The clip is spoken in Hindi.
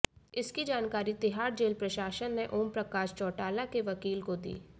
इसकी जानकारी तिहाड़ जेल प्रशासन ने ओम प्रकाश चौटाला के वकील को दी